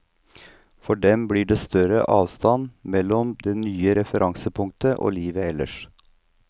For dem blir det større avstand mellom det nye referansepunktet og livet ellers.